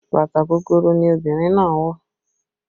Bàtà gogoro ni obìnrin náà wọ